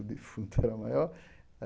O defunto era maior.